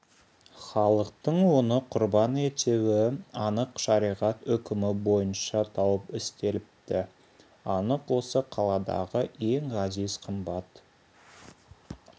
халықтың оны құрбан етуі анық шариғат үкімі бойынша тауып істеліпті анық осы қаладағы ең ғазиз қымбат